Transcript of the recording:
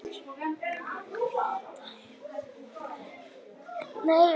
Hvítá hefur því átt tiltölulega auðvelt með að grafa sig inn í hraunið við Barnafoss.